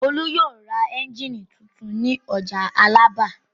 Olú yóò ra ẹ́ńjínì tuntun ní ọjà Alábà.